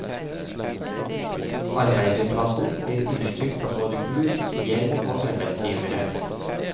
Arbeiderklassen blir undertrykt av både gud, gjeld og arbeidsgivere.